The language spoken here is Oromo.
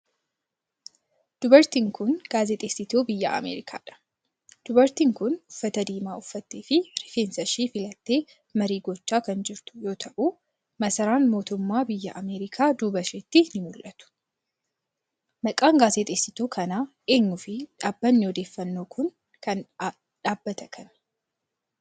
Dubartiin kun, gaazexeessituu biyya Ameerikaa dha. Dubartiin kun, uffata diimaa uffattee fi rifeensa ishee filattee marii gochaa kan jirtu yoo ta'u, masaraan mootummaa biyya Ameerikaa duuba isheetti ni mul'atu. Maqaan gaazexeessituu kanaa eenyu fi dhaabbanni odeeffannoo kun dhaabbata kami?